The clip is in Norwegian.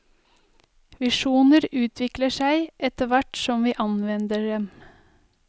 Visjoner utvikler seg etterhvert som vi anvender dem.